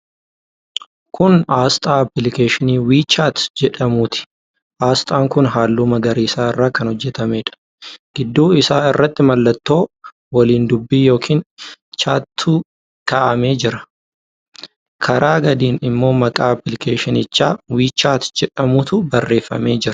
Kun aasxaa appilikeeshinii 'WeChat' jedhamuuti. Aasxaan kun halluu magariisa irraa kan hojjetameedha. Gidduu isaa irratti mallattoo waliin dubbii yookiin 'chat'tu kaa'amee jita. Karaa gadiin immoo maqaa appilikeeshinichaa 'WeChat' jedhamutu barreeffamee jira.